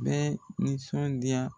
N mɛ nisɔndiya